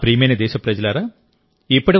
నా ప్రియమైన దేశప్రజలారా